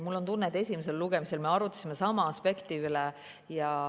Mul on tunne, et esimesel lugemisel me arutasime sama aspekti üle.